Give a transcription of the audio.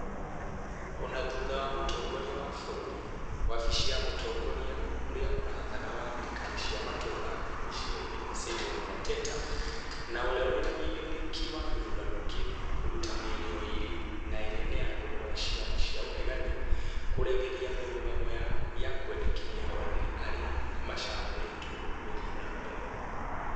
Ona thutha wa mũtongoria wa bururi, wafisi ya Mutongoria ũrĩa ũrathana wa thirikari cia matũra (MICENI), Simon Mwateta, na ũria wĩna uigĩrĩrĩki wa gĩthurano kĩu kũruta mĩario ĩrĩ na ĩrĩa nĩ ya kũhoya ciama cia ĩregani kũregeria mĩrũgamo yao na kwendekithia ahũranĩri arĩa macagũritwo gũthiĩ na mbere